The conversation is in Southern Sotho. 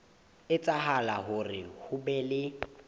etsahala hore ho be le